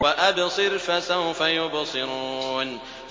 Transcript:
وَأَبْصِرْ فَسَوْفَ يُبْصِرُونَ